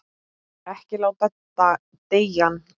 Ekki láta deigan síga.